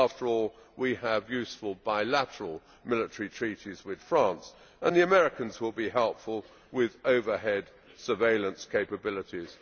After all, we have useful bilateral military treaties with France and the Americans will be helpful with overhead surveillance capabilities.